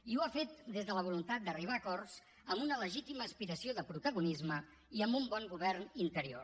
i ho ha fet des de la voluntat d’arribar a acords amb una legítima aspiració de protagonisme i amb un bon govern interior